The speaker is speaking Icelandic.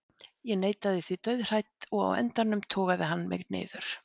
Ég neitaði því dauðhrædd og á endanum togaði hann mig niður.